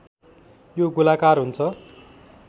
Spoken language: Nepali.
यो गोलाकार हुन्छ